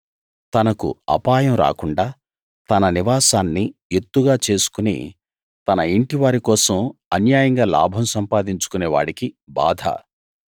తనకు అపాయం రాకుండా తన నివాసాన్ని ఎత్తుగా చేసుకుని తన యింటివారి కోసం అన్యాయంగా లాభం సంపాదించుకొనే వాడికి బాధ